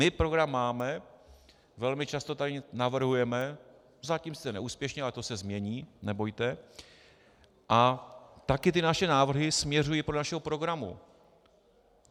My program máme, velmi často tady navrhujeme - zatím sice neúspěšně, ale to se změní, nebojte - a taky ty naše návrhy směřují podle našeho programu.